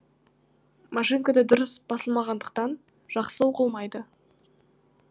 машинкада дұрыс басылмағандықтан жақсы оқылмайды